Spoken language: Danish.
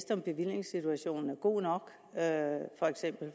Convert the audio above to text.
om bevillingssituationen er god nok